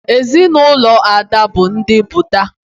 Ezinụlọ Ada bụ ndị Buda